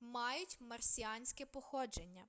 мають марсіанське походження